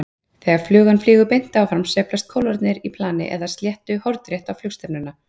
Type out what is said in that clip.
Þegar flugan flýgur beint áfram sveiflast kólfarnir í plani eða sléttu hornrétt á flugstefnuna.